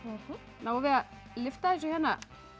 náum við að lyfta þessu hérna